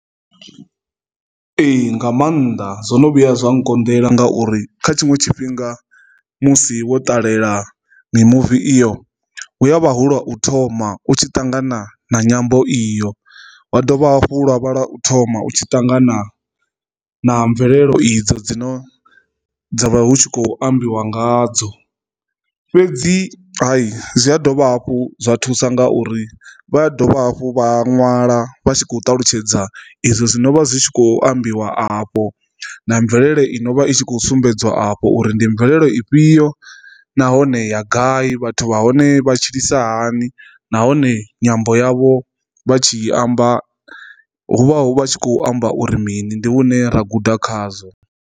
Ee, nga maanḓa zwo no vhuya zwa nkonḓela ngauri kha tshiṅwe tshifhinga musi wo ṱalela mimuvi iyo hu ya vha hu lwa u thoma u tshi ṱangana na nyambo iyo wa dovha hafhu lwa vha lwa u thoma u tshi ṱangana na mvelelo idzo dzine dza vha hu tshi khou ambiwa nga dzo. Fhedzi ha zwi a dovha hafhu zwa thusa nga uri vha a dovha hafhu vha nwala vha tshi kho ṱalutshedza idzo zwino vha zwi tshi khou ambiwa afho na mvelele i no vha i tshi khou sumbedziwa afho uri ndi mvelelo ifhio nahone ya gai, vhathu vha hone vha tshilisa hani nahone nyambo yavho vha tshi amba huvha hu vha tshi khou amba uri mini ndi vhune ra guda khazwo.